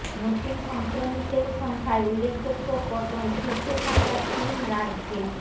নতুন সংক্রমিতের সংখ্যায় উল্লেখযোগ্য পতন শীর্ষে থাকা তিন রাজ্যে